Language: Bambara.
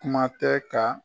Kuma tɛ ka